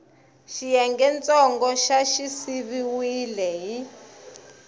xiyengentsongo xa xi siviwile hi